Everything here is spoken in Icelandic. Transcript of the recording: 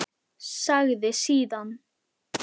Sagði síðan